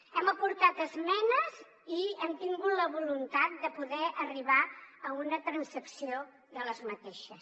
hem aportat esmenes i hem tingut la voluntat de poder arribar a una transacció d’aquestes